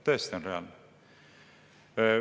Tõesti on reaalne.